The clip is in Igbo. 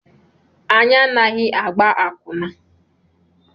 Anyị anaghị agba akwụna.